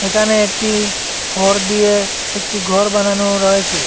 এখানে একটি খড় দিয়ে একটি ঘর বানানো রয়েচে ।